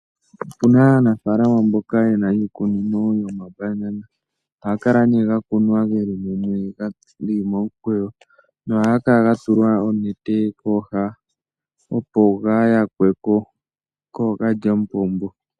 Opuna aanafalama mboka yena iikunino yoma banana ohaga kala ne ga kunwa geli mumwe geli momukweyo. Ohaga kala ga tulwa onete kooha opo kaga ya kweko koookalyamupombo.